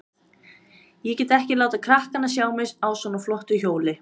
Ég get ekki látið krakkana sjá mig á svona flottu hjóli.